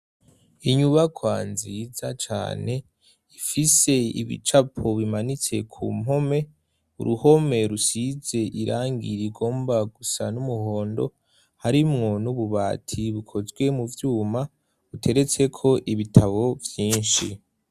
inyubako nziza cane ifise ibicapo bimanitse ku mpome, uruhome rusize irangi rigomba gusa n'umuhondo, harimwo n'ububati bukozwe mu vyuma buteretseko ibitabo vyinshi.